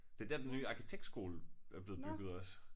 Det dér den nye arkitektskole er blevet bygget også